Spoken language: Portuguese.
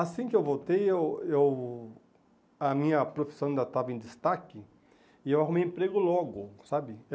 Assim que eu voltei, eu eu a minha profissão ainda estava em destaque e eu arrumei emprego logo, sabe?